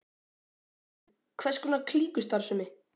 Guðný: Hvers konar klíkustarfsemi?